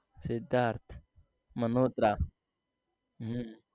Sidharth Malhotra હમ